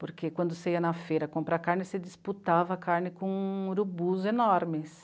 Porque quando você ia na feira comprar carne, você disputava carne com urubus enormes.